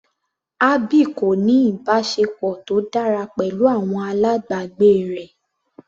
Abby kò ní ìbáṣepọ̀ tó dára pẹ̀lú àwọn alábàgbé rẹ̀.